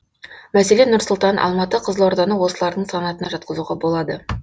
мәселен нұр сұлтан алматы қызылорданы осылардың санатына жатқызуға болады